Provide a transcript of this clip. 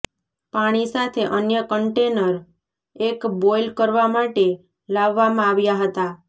પાણી સાથે અન્ય કન્ટેનર એક બોઇલ કરવા માટે લાવવામાં આવ્યા હતા